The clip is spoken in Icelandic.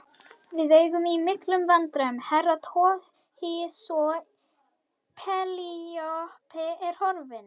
Við eigum í milum vandræðum Herra Toshizo, Penélope er horfin.